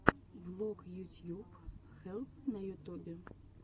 влог ютьюб хелп на ютубе